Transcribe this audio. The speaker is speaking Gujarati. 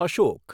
અશોક